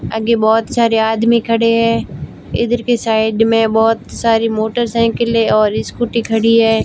आगे बहोत सारे आदमी खड़े हैं इधर के साइड में बहोत सारी मोटरसाइकिलें और स्कूटी खड़ी है।